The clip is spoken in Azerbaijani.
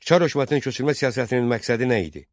Çar hökumətinin köçürmə siyasətinin məqsədi nə idi?